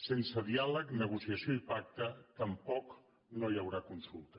sense diàleg negociació i pacte tampoc no hi haurà consulta